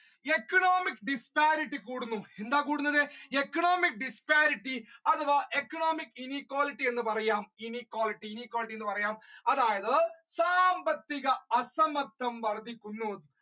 economic disparity എന്താണ് കൂടുന്നത് economic disparity അഥവാ economic inequality എന്ന് പറയാം inequality inequality എന്ന് പറയാം അതായത് സാമ്പത്തിക വർധിക്കുന്നു